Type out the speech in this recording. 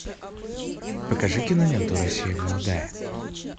покажи киноленту россия молодая